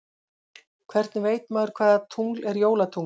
Hvernig veit maður hvaða tungl er jólatungl?